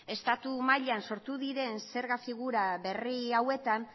estatu mailan sortu diren zerga figura berri hauetan